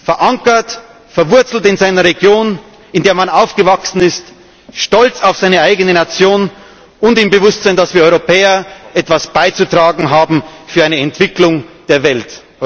sein! Verankert, verwurzelt in seiner Region, in der man aufgewachsen ist, stolz auf seine eigene Nation und im Bewusstsein, dass wir Europäer etwas beizutragen haben für eine Entwicklung der